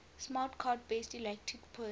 smart card based electronic purse